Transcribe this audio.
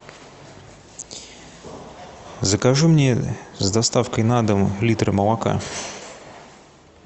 закажи мне с доставкой на дом литр молока